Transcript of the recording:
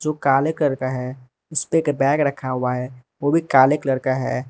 काले कर का है उसपे एक बैग रखा हुआ है वो भी काले कलर का है।